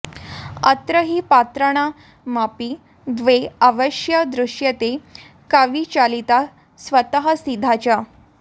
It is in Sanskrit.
अत्र हि पात्राणामपि द्वे अवस्थे दृश्येते कविचालिता स्वतःसिद्धा च